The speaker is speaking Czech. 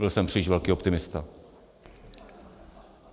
Byl jsem příliš velký optimista.